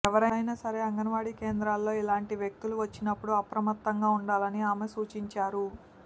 ఎవరైనా సరే అంగన్వాడీ కేంద్రాల్లో ఇలాంటి వ్యక్తులు వచ్చినప్పుడు అప్రమత్తంగా ఉండాలని ఆమె సూచించారు